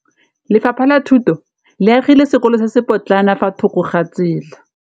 Lefapha la Thuto le agile sekôlô se se pôtlana fa thoko ga tsela.